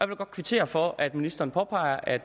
vil godt kvittere for at ministeren påpeger at